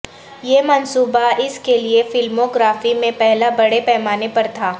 یہ منصوبہ اس کے لیے فلموگرافی میں پہلا بڑے پیمانے پر تھا